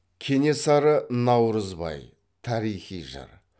кенесары наурызбай тарихи жыр